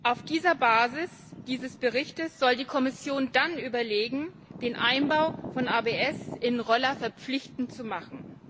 Auf der Basis dieses Berichts soll die Kommission dann überlegen, den Einbau von ABS in Roller verpflichtend zu machen.